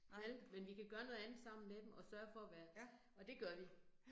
Vel, men vi kan gøre noget andet sammen med dem, og sørge for at være, og det gør vi